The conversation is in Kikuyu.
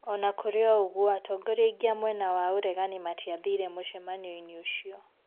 Onakurĩ unguo atongoria aingĩ a mwena wa uregani matiathire mũcemanionĩ ũcio